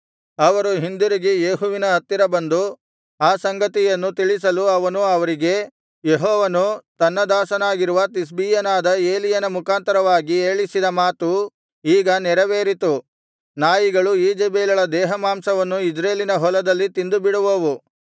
ಅವರು ಹಿಂದಿರುಗಿ ಯೇಹುವಿನ ಹತ್ತಿರ ಬಂದು ಆ ಸಂಗತಿಯನ್ನು ತಿಳಿಸಲು ಅವನು ಅವರಿಗೆ ಯೆಹೋವನು ತನ್ನ ದಾಸನಾಗಿರುವ ತಿಷ್ಬೀಯನಾದ ಎಲೀಯನ ಮುಖಾಂತರವಾಗಿ ಹೇಳಿಸಿದ ಮಾತು ಈಗ ನೆರವೇರಿತು ನಾಯಿಗಳು ಈಜೆಬೆಲಳ ದೇಹಮಾಂಸವನ್ನು ಇಜ್ರೇಲಿನ ಹೊಲದಲ್ಲಿ ತಿಂದುಬಿಡುವವು